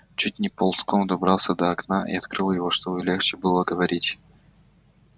чуть не ползком добрался до окна и открыл его чтобы легче было говорить